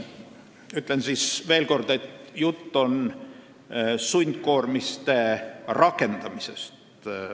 Ütlen veel kord, et jutt on sundkoormiste rakendamisest.